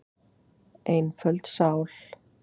Einföld sál.